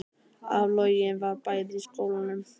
Áflogin voru bæði í skólanum